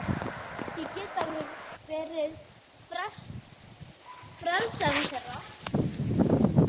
Ég get alveg verið frelsarinn þeirra.